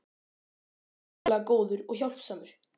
Hann er ótrúlega góður og hjálpsamur.